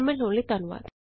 ਸ਼ਾਮਲ ਹੋਣ ਲਈ ਧੰਨਵਾਦ